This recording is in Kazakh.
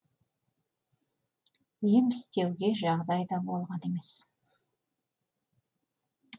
ем істеуге жағдай да болған емес